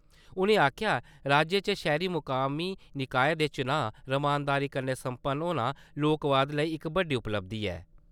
उ`नें आक्खेआ राज्य च शैह्‌री मकामी निकाएं दे चुनांऽ रमानदारी कन्नै सम्पन्न होना लोकवाद लेई इक बड्डी उपलब्धी ऐ....